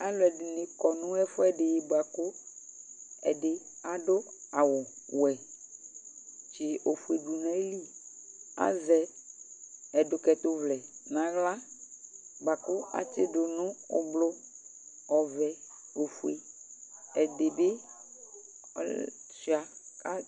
aluɛ dini kɔ nu ɛfuɛ ɖi bua ku ɛdi adu awu wɛ tsi ofue dunu ayi li azɛ ɛdukɛtu vlɛ n'aɣla bua ku atsi nu du nu ublu ɔvɛ, ofue, ɛdibi tshua